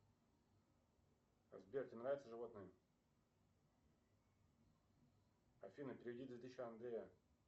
сбер тебе нравятся животные афина переведи две тысячи андрею